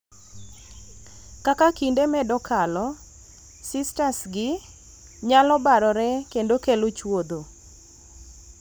Kaka kinde medo kalo, cystsgi nyalo barore kendo kelo chwodho.